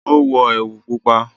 o wọ ẹwu pupa.